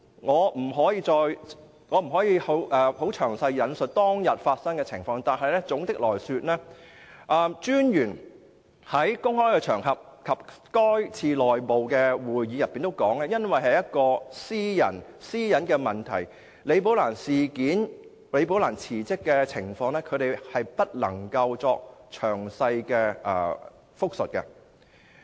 我不可以詳述當天的情況，但總的來說，廉政專員在公開場合和該次內部會議中也表示，基於私隱問題，他不能就"李寶蘭事件"、李寶蘭辭職的問題給予詳細答覆。